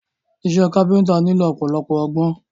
Iṣẹ́ káfíntà nílò ọ̀pọ̀lọpọ̀ ọgbọ́n.